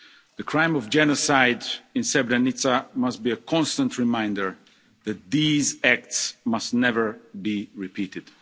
The crime of genocide in Srebrenica must be a constant reminder that these acts must never be repeated.